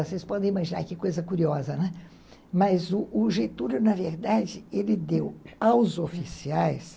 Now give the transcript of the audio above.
Vocês podem imaginar que coisa curiosa, né, mas o Getúlio, na verdade, ele deu aos oficiais